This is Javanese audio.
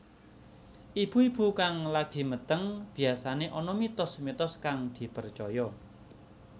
Ibu ibu kang lagi meteng biyasané ana mitos mitos kang dipercaya